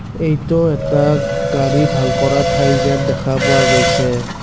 এইটো এটা গাড়ী ভাল কৰা ঠাই যেন দেখা পোৱা গৈছে।